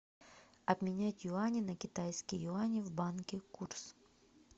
обменять юани на китайские юани в банке курс